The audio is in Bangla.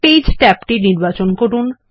পেজ ট্যাবটি নির্বাচন করুন